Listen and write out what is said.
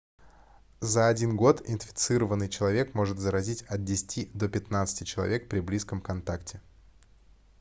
за один год инфицированный человек может заразить от 10 до 15 человек при близком контакте